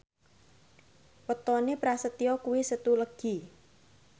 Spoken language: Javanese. wetone Prasetyo kuwi Setu Legi